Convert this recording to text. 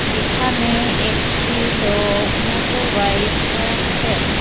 এখানে একটি লোক মোটরবাইক সারাচ্ছেন।